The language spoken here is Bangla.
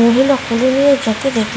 মহিলা কোলে নিয়ে |